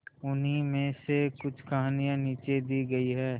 उन्हीं में से कुछ कहानियां नीचे दी गई है